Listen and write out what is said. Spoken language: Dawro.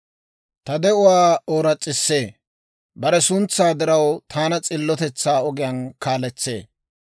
Ta de'uwaa ooras's'isee. Bare suntsaa diraw, taana s'illotetsaa ogiyaan kaaletsee.